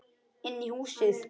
Inn í húsið?